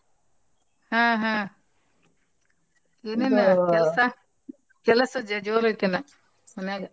ಹಾ ಹಾ ಕೆಲಸ ಜೋ~ ಜೋರ್ ಐತೆನ ಮನ್ಯಾಗ.